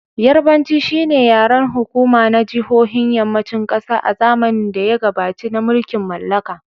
Yarbanci shi ne yaren hukuma na jihohin Yammacin kasa a zamanin da ya gabaci na mulkin mallaka.